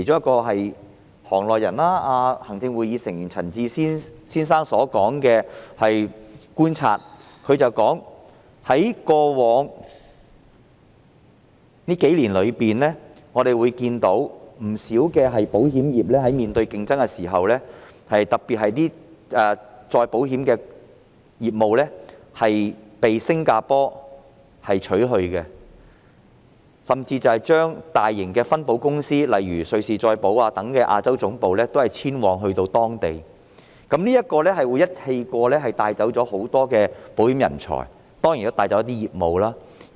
據行內人士兼行政會議成員陳智思先生觀察所得，在過去數年間，不少保險公司面對劇烈競爭，特別是一些再保險的業務被新加坡取去，甚至大型的分保公司，例如瑞士再保險公司等的亞洲總部都遷往新加坡，這樣會在同一時間帶走很多保險人才，當然亦會帶走一些保險業務。